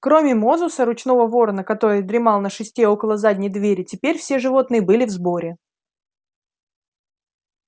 кроме мозуса ручного ворона который дремал на шесте около задней двери теперь все животные были в сборе